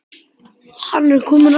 Hann er kominn aftur!